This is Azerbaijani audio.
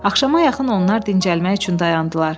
Axşama yaxın onlar dincəlmək üçün dayandılar.